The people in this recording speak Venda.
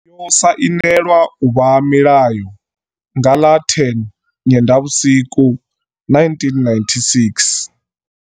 Yo sainelwa u vha mulayo nga ḽa 10 Nyendavhusiku 1996.